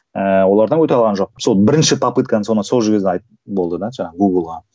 ііі олардан өте алған жоқпын сол бірінші попыткам соны сол жерде болды да жаңағы гугл ға